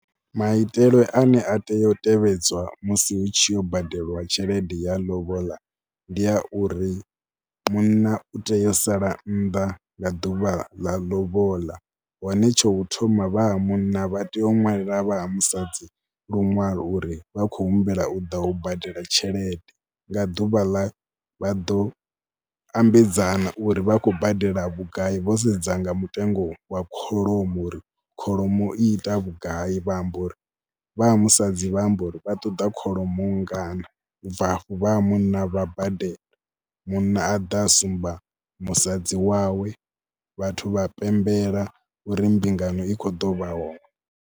Maitele ane a tea u tevhedzwa musi hu tshi yo badeliwa tshelede ya lobola ndi a uri munna u tea u sala nnḓa nga ḓuvha ḽa lobola. Hone tsha u thoma vha ha munna vha tea u ṅwalela vha musadzi luṅwalo uri vha khou humbela u ḓa u badela tshelede nga ḓuvha ḽa, vha ḓo ambedzana uri vha khou badela vhugai vho sedza nga mutengo wa kholomo, uri kholomo i ita vhugai vha amba uri, vha ha musadzi vha amba uri vha ṱoḓa kholomo nngana. U bva afhi vha ha munna vha badela. Munna a ḓa sumba musadzi wawe, vhathu vha pembela uri mbingano i kho ḓo vha hone.